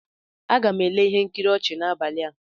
Aga m ele ihe nkiri ọchị n'abalị a.